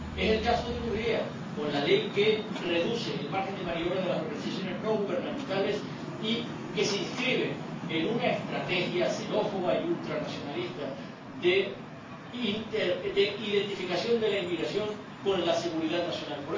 Es el caso de Hungría con la ley que reduce el margen de maniobra de las organizaciones no gubernamentales y que se inscribe en una estrategia xenófoba y ultranacionalista de identificación de la inmigración con la seguridad nacional.